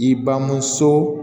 I bamuso